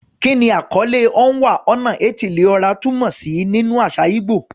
Kí ni àkọlé "Onwa-na-etili-ora" túmọ̀ sí nínú àṣà ìgbò?